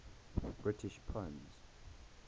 british poems